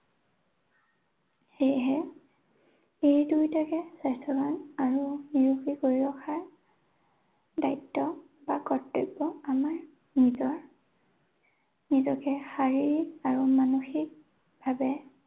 সেয়েহে এই দুয়োটাকে স্বাস্থ্যৱান আৰু নিৰুগী কৰি ৰখাৰ দায়িত্ব বা কৰ্তব্য আমাৰ নিজৰ। নিজকে শাৰীৰিক আৰু মানসিকভাৱে